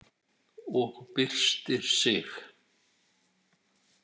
Og byrstir sig.